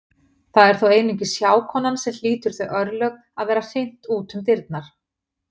Það er þó einungis hjákonan sem hlýtur þau örlög að vera hrint út um dyrnar.